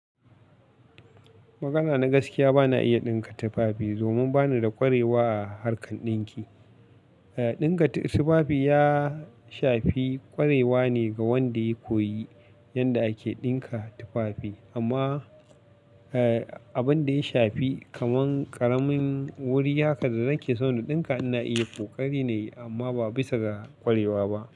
Maganana gaskiya bana iya ɗinka tufafi domin bani da ƙwarewa a harkar ɗinki. E, ɗinka tufafi ya shafi ƙwarewa ne ga wanda ya koyi yadda ake ɗinka tufafi amma, e, abin da ya shafi kaman ƙaramin wuri haka da zan ke so na ɗinka ina iya kokari na yi amma ba bisa ga ƙwarewa ba.